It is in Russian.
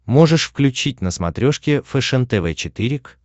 можешь включить на смотрешке фэшен тв четыре к